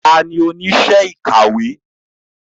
Ta ni oníṣẹ́ ìkàwé?